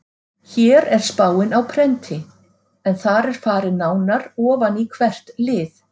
Hér er spáin á prenti en þar er farið nánar ofan í hvert lið.